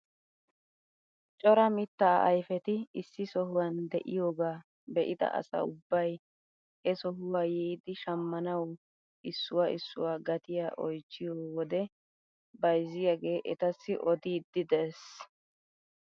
Cora mittaa ayfeti issi sohuwaan de'iyoogaa be'ida asa ubbay he sohuwaa yiidi shammanawu issuwaa issuwaa gatiyaa oychchiyo wode bayzziyaagee etassi odiidi de'ees!